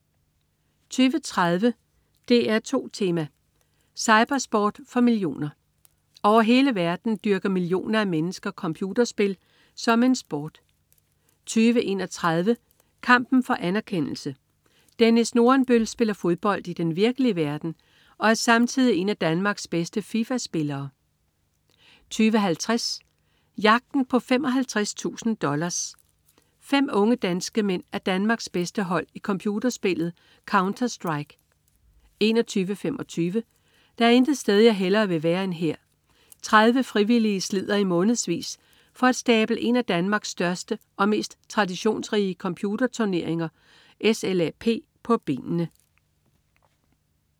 20.30 DR2 Tema: Cypersport for millioner. Over hele verden dyrker millioner af mennesker computerspil som en sport 20.31 Kampen for anerkendelse. Dennis Nordenbøl spiller fodbold i den virkelige verden, og er samtidig en af Danmarks bedste Fifa-spillere 20.50 Jagten på 55.000 dollars. Fem unge danske mænd er Danmarks bedste hold i computerspillet "Counterstrike" 21.25 Der er intet sted jeg hellere vil være end her. 30 frivillige slider i månedsvis for at stable en af Danmarks største og mest traditionsrige computerturneringer, SLAP, på benene